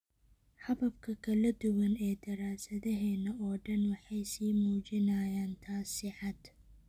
Hababka kala duwan ee daraasadaheena oo dhan waxay sii muujinayaan taas si cad.